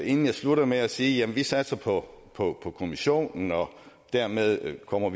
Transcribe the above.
inden jeg slutter med at sige at vi satser på på kommissionen og dermed ikke kommer